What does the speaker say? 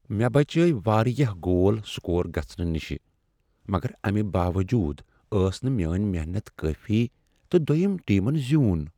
مےٚ بچٲوۍ واریاہ گول سکور گژھنہٕ نش مگر امہ باوجود ٲس نہٕ میٲنۍ محنت کٲفی تہٕ دویم ٹیمن زیون۔